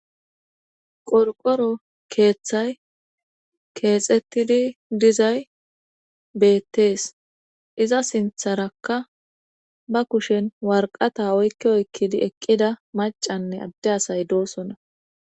Qorqoro keeththay keexettidi dizay beettees iza sintharakka ba kushen warqata oykki oykkidi eqqida macanne adde asay doosona